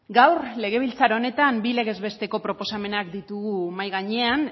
gaur legebiltzar honetan bi legez besteko proposamenak ditugu mahai gainean